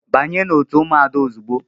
Banye n'otu ụmụada ozugbo!